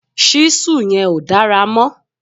ṣísù yẹn ò dára mọ̀